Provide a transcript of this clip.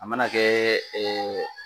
A mana kɛ ɛɛ